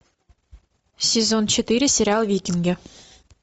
сезон четыре сериал викинги